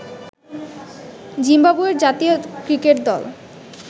জিম্বাবুয়ের জাতীয় ক্রিকেট দল